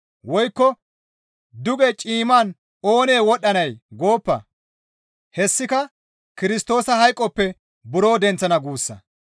Woykko, « ‹Duge ciimman oonee wodhdhanay?› Gooppa!» hessika Kirstoosa hayqoppe buro denththana guussa.